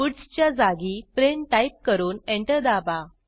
puts च्या जागी print type करून एंटर दाबा